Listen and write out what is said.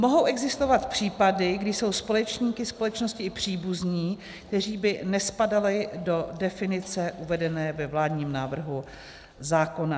Mohou existovat případy, kdy jsou společníky společnosti i příbuzní, kteří by nespadali do definice uvedené ve vládním návrhu zákona.